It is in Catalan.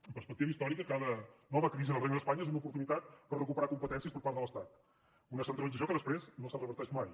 amb perspectiva històrica cada nova crisi del regne d’espanya és una oportunitat per recuperar competències per part de l’estat una centralització que després no se reverteix mai